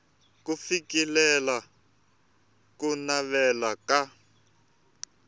ku fikelela ku navela ka